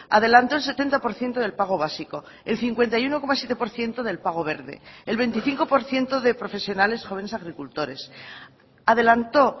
adelantó el setenta por ciento del pago básico el cincuenta y uno coma siete por ciento del pago verde el veinticinco por ciento de profesionales jóvenes agricultores adelantó